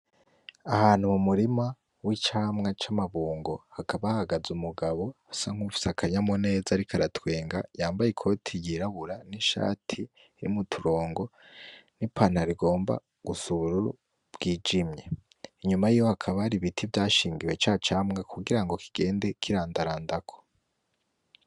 Ahantu mu murima w'icamwa c'amabungo, hakaba hahagaze umugabo asa nk'uwufise akanyamuneza ariko aratwenga yambaye ikoti yirabura n'ishati irimwo uturongo n'ipantaro igomba gusa n'ubururu bwijimye. Inyuma yiwe hakaba hari ibiti vyashingiwe ca camwa kugira kigende kirandarandako.